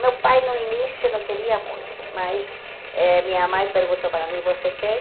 Meu pai no início não queria muito, mas eh minha mãe perguntou para mim, você quer?